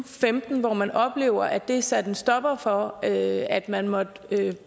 femten hvor man oplevede at det satte en stopper for at at man måtte